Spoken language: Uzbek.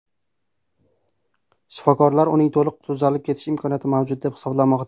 Shifokorlar uning to‘liq tuzalib ketish imkoniyati mavjud deb hisoblamoqda.